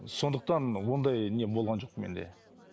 сондықтан ондай не болған жоқ менде